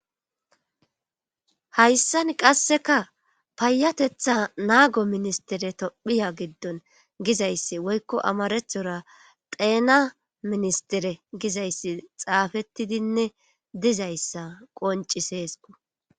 Hayssan qasseka payatetha naago ministere tophiya giddon gizayssi woykko amarethora xeena ministere gizayssi xaafettidinne dizayssa qonci seesku.